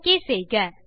okay செய்க